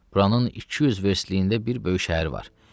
Buranın iki yüz verstliyində bir böyük şəhər var.